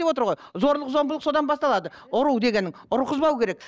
зорлық зомбылық содан басталады ұру дегенің ұрғызбау керек